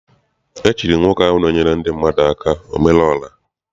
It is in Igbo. E chiri nwoke ahụ na-enyere ndị mmadụ aka omere ora.